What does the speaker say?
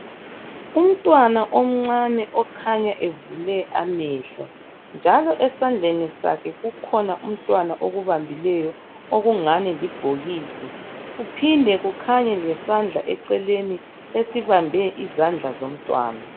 Umntwana omncane okhanya evule amehlo njalo Umntwana esandleni ukhanya kukhona akubambileyo okungani libhokisi kuphinde kukhanye isandla eceleni esibambe isandla somntwana